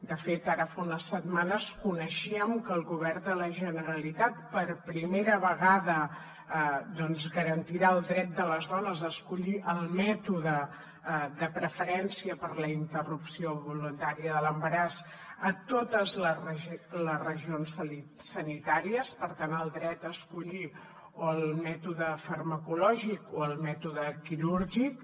de fet ara fa unes setmanes coneixíem que el govern de la generalitat per primera vegada doncs garantirà el dret de les dones a escollir el mètode de preferència per a la interrupció voluntària de l’embaràs a totes les regions sanitàries per tant el dret a escollir o el mètode farmacològic o el mètode quirúrgic